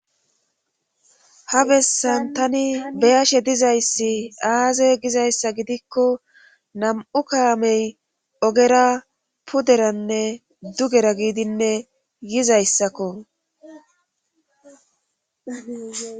Ha bessan tani beyashe dizayssi aaze gizayssa gidikko nam7u kaamey ogera puderanne dugera giidinne yizayssakko.